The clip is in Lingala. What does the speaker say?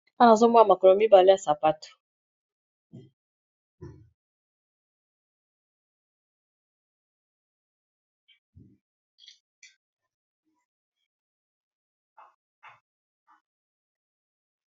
Awa nazomona makolo mibale ya sapato.